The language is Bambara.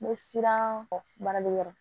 N bɛ siran kɔ baaraliyɔrɔ